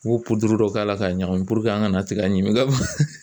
U b'o dɔ k'a la k'a ɲagami an kana tigɛ ɲimi